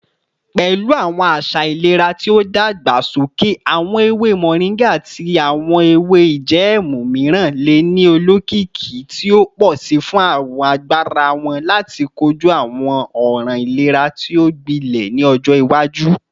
Pẹlu awọn aṣa ilera ti o dagbasoke, awọn ewe moringa ati awọn ewe ijẹẹmu miiran le ni olokiki ti o pọ si fun agbara wọn lati koju awọn ọran ilera ti o gbilẹ ni ọjọ iwaju.